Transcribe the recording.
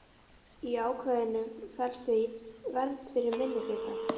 Í ákvæðinu felst því viss vernd fyrir minnihlutann.